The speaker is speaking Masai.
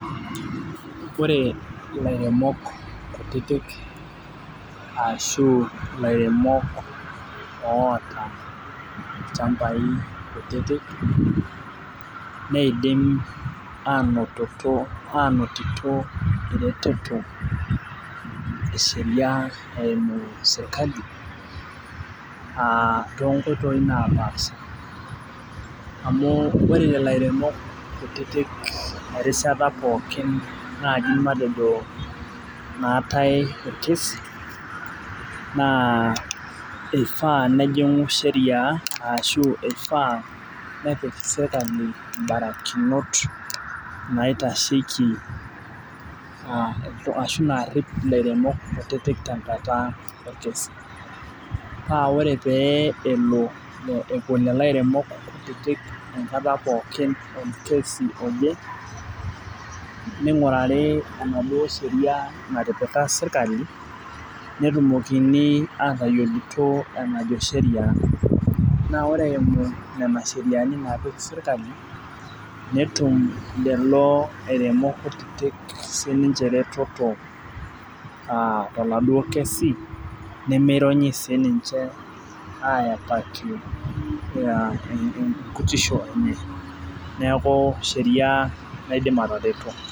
Ore ilairemok kutitik ashu ilairemok oota ilchambai kutitik, neidim anototo anotito ereteto esheria eimu sirkali, ah tonkoitoii napaasha. Amu ore lelo airemok kutitik erishata pookin naji matejo naatai orkesi, naa ifaa nejing'u sheria ashu ifaa nepik serkali ibarakinot naitasheki ashu narrip ilairemok kutitik tenkata orkesi. Pa ore pee epuo lelo airemok kutitik enkata pookin orkesi oje, ning'urari enaduo sheria natipika sirkali, netumokini atayiolito enajo sheria. Na ore eimu nena sheriani napik sirkali, netum lelo airemok kutitik sininche ereteto ah toladuo kesi, nemironyi sininche ayapaki enkutisho enye. Neeku sheria naidim atareto.